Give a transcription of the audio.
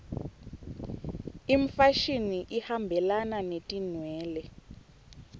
imfashini ihambelana netinwele